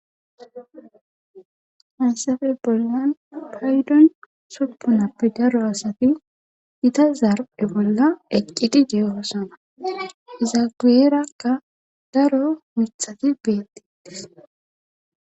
Hansafe bollan paydon suppunappe daro asati ita zarpe bolla eqqidi deeosana izagierakka daro mithati beetiitis.